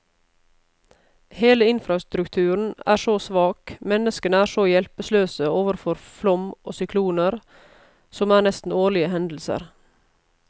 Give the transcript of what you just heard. Hele infrastrukturen er så svak, menneskene er så hjelpeløse overfor flom og sykloner, som er nesten årlige hendelser.